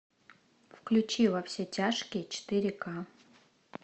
включи во все тяжкие четыре ка